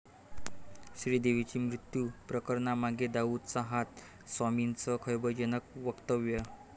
श्रीदेवी मृत्यू प्रकरणामागे दाऊदचा हात, स्वामींचं खळबळजनक वक्तव्य